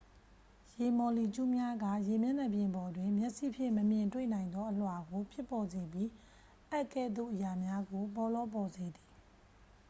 ရေမော်လီကျူးများက ရေမျက်နှာပြင်ပေါ်တွင် မျက်စိဖြင့် မမြင်တွေ့နိုင်သော အလွှာကိုဖြစ်ပေါ်စေပြီး အပ်ကဲ့သို့အရာများကို ပေါလောပေါ်စေသည်